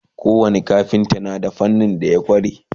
ko wani kafinta na da fannin da ya kware